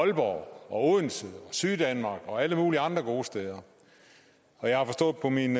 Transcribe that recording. aalborg odense syddanmark og alle mulige andre gode steder og jeg har forstået på mine